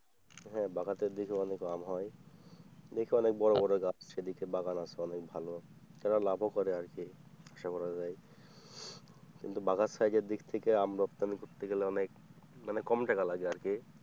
হ্যাঁ বাগাতের দিকেও অনেক আম হয়, দেখি অনেক বড় বড় গাছ সেদিকে বাগান আছে অনেক ভালো তারা লাভও করে আর কি কিন্তু বাঘার সাইজের দিক থেকে আম রপ্তানি করতে গেলে অনেক কমটাক লাগে আরকি।